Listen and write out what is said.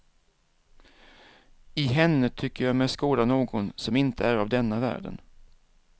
I henne tycker jag mig skåda någon som inte är av denna världen.